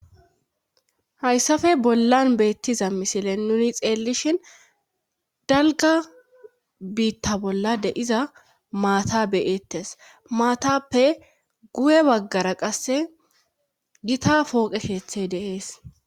hayssafe bollan beettiza misile nuni xeellishin dalga biitta bolla de iza maata beyettes maatappe gu7e baggara qasse gita pooqe keethiy de'ees